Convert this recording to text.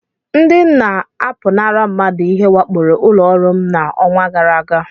Ndị na-apụnara mmadụ ihe wakporo ụlọ ọrụ m n'ọnwa gara aga.